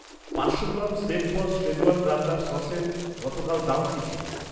পাঁচশো গ্রাম শেফবস শেজওয়ান রান্নার সসের গতকাল দাম কি ছিল?